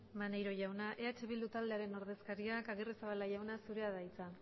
maneiro jauna eh bildu taldearen ordezkariak agirrezabala jauna zurea da hitza